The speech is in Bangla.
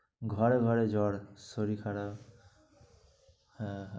ঘরে ঘরে জ্বর শরীর খারাপ, হ্যাঁ।